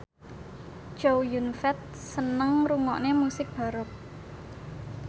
Chow Yun Fat seneng ngrungokne musik baroque